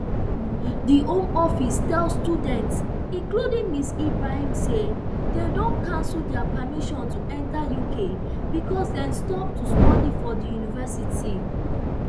di home office tell students including ms ibrahim say dem don cancel dia permission to enter uk becos dem stop to study for di university